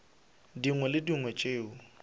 dingwe le tše dingwe tšeo